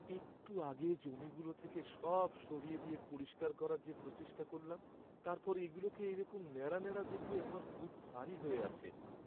একটু আগে জমিগুলো থেকে সব সরিয়ে দিয়ে পরিষ্কার করার যে প্রচেষ্টা করলাম, তারপর এগুলোকে এইরকম নেড়া নেড়া দেখলে আমার বুক ভারি হয়ে আছে।